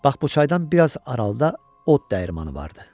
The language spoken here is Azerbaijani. Bax bu çaydan biraz aralıda od dəyirmanı vardı.